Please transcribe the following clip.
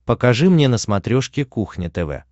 покажи мне на смотрешке кухня тв